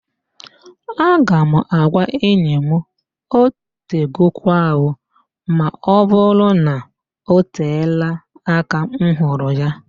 Aga m agwa enyi m, "otegokwa ooo", ma ọbụrụ na-oteela aka m hụrụ ya